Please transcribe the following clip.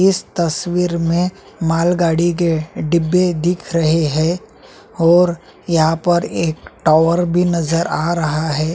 इस तस्वीर में माल गाड़ी के डिब्बे दिख रहे है और यहाँ पर एक टावर भी नज़र आ रहा है।